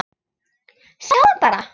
Sjáðu hana bara!